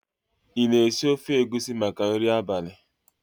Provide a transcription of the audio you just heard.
ị na-esi ofe egusi maka nri abalị?